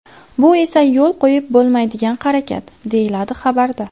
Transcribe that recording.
Bu esa yo‘l qo‘yib bo‘lmaydigan harakat”, deyiladi xabarda.